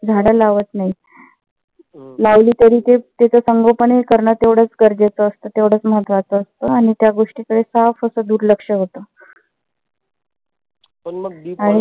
झाडं लावत नाहीत. लावली तरी ते त्याच संगोपन हे करण तेवढंच गरजेच असत तेवढंच महत्वाच असत आणि त्या गोष्टीकडे साफ अस दुर्लक्ष होत. आणि